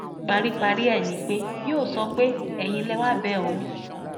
paríparí rẹ ni pé yóò sọ pé ẹyin lẹ wàá bẹ òun